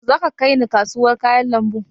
Yaushe za ka kaina kasuwar kayan lambu?